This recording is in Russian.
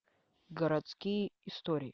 городские истории